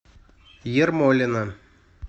ермолино